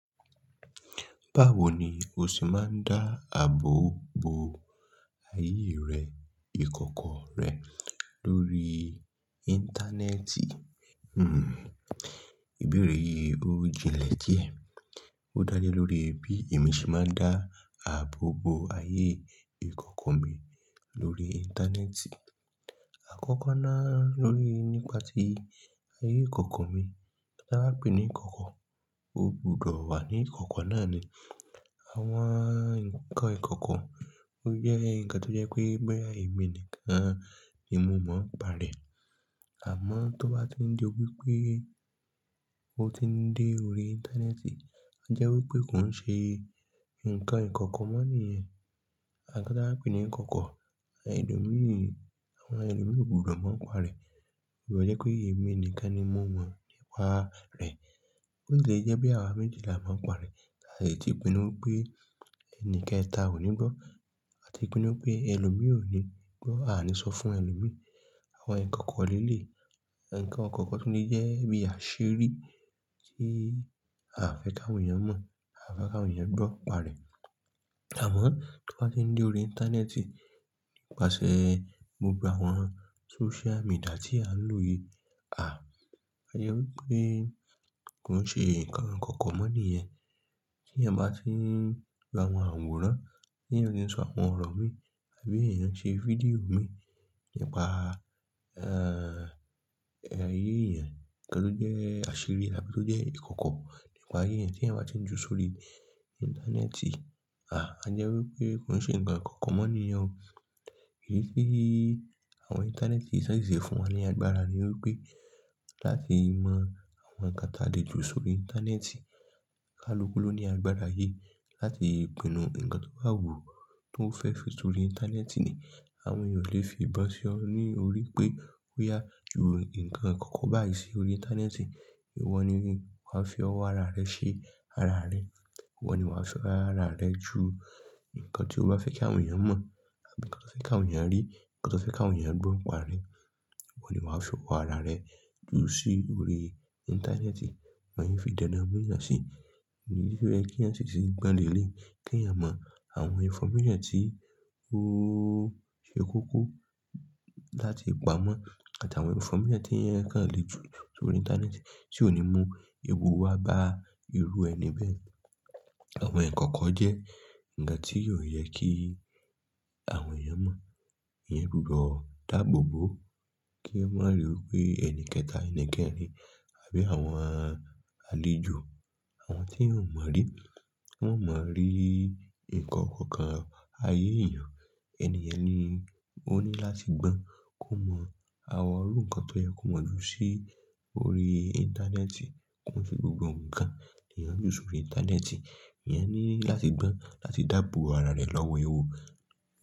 Báwo ni o sì máa ń dá àbọ̀ bo ayé rẹ, ìkọ̀kọ̀ rẹ lórí Íńtánẹ́ẹ̀tì? Ìbéèrè yìí ó jinlẹ̀ díẹ̀. Ó dá lé lórí bí èmi ṣe máa ń dá àbọ̀ bo ayé ìkọ̀kọ̀ mi lórí Íńtánẹ́ẹ̀tì. Àkọ́kọ́ náà lórí nípa tí ayé ìkọ̀kọ̀ mi, tí a ba pè ní ìkọ̀kọ̀, ó gbúdọ̀ wà ní ìkọ̀kọ̀ náà ni àwọn nǹkan ìkọ̀kọ̀. Ó jẹ́ ǹkan tó jẹ́ pé boya èmi nìkan ni mo mọ̀n pa rẹ̀. Àmọ́ tó bá ti ń di wípé ó ti ń dé orí Íńtánẹ́ẹ̀tì, a jẹ́ wípé kò ń ṣe ǹkan ìkọ̀kọ̀ mọ́ nìyẹn. Ǹkan tí a ba pè é ní ìkọ̀kọ̀, ẹlòmíí, àwọn ẹlòmíí ko gbúdọ̀ mọ ń pa rẹ̀. Moma ni pé, èmi nìkan ni mo mọ̀ nípa rẹ̀. Óti lè jẹ́ pé àwa méjì lá máa ń pa rẹ̀. A lè ti pinnu pé ẹni kẹta ò ní gbọ́. A ti pinnu pé ẹlòmíràn ò ní gbọ́, a ò ní sọ fún ẹlòmíràn. Àwọn ǹkan kọ̀ọ̀kọ̀ọ̀ leléyi, awon ǹkan kọ̀ọ̀kọ̀ọ̀ tun lè jẹ́ bí àṣírí tí a ò fẹ́ káwọn èèyàn mọ̀, a ò fẹ́ káwọn èèyàn gbọ́ pa rẹ̀. Àmọ́ tó bá ti ń dé orí Íńtánẹ́ẹ̀tì, nípasẹ̀ gbogbo àwọn Sócial media tí a ń lò yìí, àá, a jẹ́ wípé kò ń ṣe ǹkan ìkọ̀kọ̀ mọ́ nìyẹn. Tí eeyan bá ti ń gba àwọn àwòrán, bí eeyan se ń sọ àwọn ọ̀rọ̀ mi àbí èèyàn ṣe fídíò mi nípa, igbe ayé èèyàn, kí ló jẹ́ àṣírí àbí tó jẹ́ ìkọ̀kọ̀ nípa ayé èèyàn, tí eeyan bá ti ń ju sórí Íńtánẹ́ẹ̀tì, à á jẹ́ wípé kò ń ṣe ǹkan ìkọ̀kọ̀ mọ́ nìyẹn. Èyí tí àwọn Íńtánẹ́ẹ̀tì ṣẹ̀ ṣe fún wa ní agbára ni wípé láti mọ àwọn ǹkan ta lè ju sórí Íńtánẹ́ẹ̀tì. Kálukú ló ní agbára yìí láti pinnu ǹkan tó wà wù tó fẹ́ fi sórí Íńtánẹ́ẹ̀tì ni. Àwọn èèyàn ò lè fi ìbọn sí ọ ní orí pé ó yá ju ǹkan ìkọ̀kọ̀ báyìí sí orí Íńtánẹ́ẹ̀tì. Ìwọ ni wà á fi ọwọ́ ara rẹ ṣe ara rẹ. Ìwọ ni wà á fi ara rẹ ju ǹkan tí o bá fẹ́ kí àwọn èèyàn mọ̀ àbí ǹkan tí o fẹ́ kí àwọn èèyàn rí, ǹkan tí o fẹ́ kí àwọn èèyàn gbọ́ pa rẹ. Ìwọ ni wà á fi ọwọ́ ara rẹ ju sí orí Íńtánẹ́ẹ̀tì. Wọn i fi dáná mú'yàn sí i. Kí eeyan mọ àwọn ìnfọ́míṣàn tí ó ṣe kókó láti pamọ́ àti àwọn ìnfọ́míṣàn tí eeyan kan lè ju sórí Íńtánẹ́ẹ̀tì tí ò ní mú ewu wá bá irú ẹni bẹ́ẹ̀. Àwọn ìkọ̀kọ̀ jẹ́ ǹkan tí óò yẹ kí àwọn èèyàn mọ̀. Eeyan gbúdọ̀ dàbò bo kí ẹ má ri wípé ẹni kẹta, ẹni kẹrin àbí àwọn alèjò, àwọn tí eeyan mọ̀ rí, wọn ò mọ̀ rí ǹkan ikoko ayé èèyàn. Ẹni yẹn ni o ní láti gbọ́n kó mọ̀ àwọn irú ǹkan tó yẹ kó mọ̀ ju sí orí Íńtánẹ́ẹ̀tì. Kó n se gbogbo ǹkan ni eeyan ń ju sórí Íńtánẹ́ẹ̀tì. Ìyẹn ni láti gbọ́n láti dàbòbo ara rẹ lọ́wọ́ ewu.